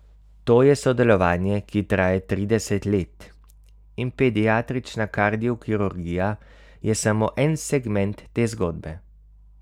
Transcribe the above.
To je sodelovanje, ki traja trideset let in pediatrična kardiokirurgija je samo en segment te zgodbe.